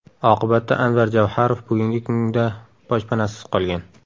Oqibatda Anvar Javharov bugungi kunda boshpanasiz qolgan.